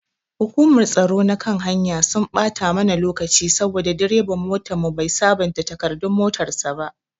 Hukumar tsaro na kan hanya sun ɓata mana lokaci saboda direban motanmu bai sabonta takardun motan sa ba.